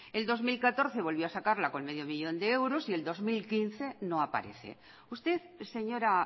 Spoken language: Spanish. el dos mil catorce volvió a sacarla con medio millón de euros y el dos mil quince no aparece usted señora